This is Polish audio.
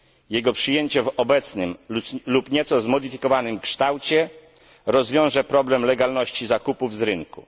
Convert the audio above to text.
Jego przyjęcie w obecnym lub nieco zmodyfikowanym kształcie rozwiąże problem legalności zakupów z rynku.